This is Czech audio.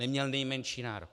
Neměl nejmenší nárok!.